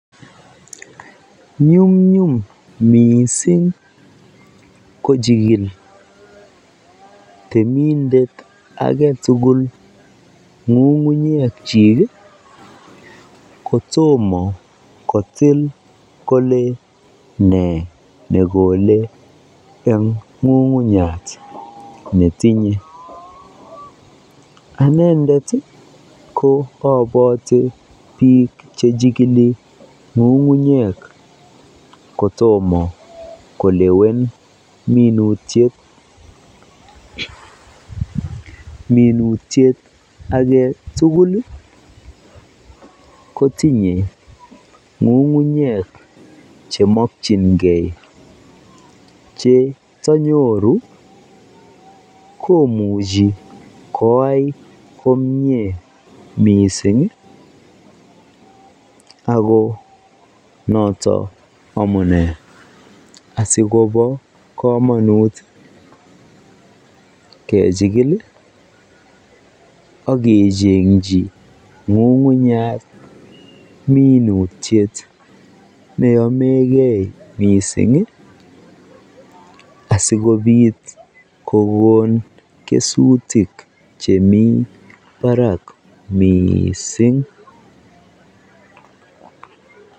Nyumnyum mising kochikil temindet aketukul ngungunyekyik kotomo kotil kolee nee nekole eng ng'ung'unyat netinye, anendet ko boton biik chechikili ngungunyek kotomo kolewen minutiet, minutiet aketukul kotinye ng'ung'unyek chemokyinge che tonyoru komuchi koyai komnye mising ak ko noton amunee asikobo komonut kechikil ak kechengyi ng'ung'unyat minutiet neyomeke mising asikobit kokon kesutik chemii barak mising.